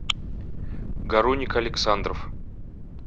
гаруник александров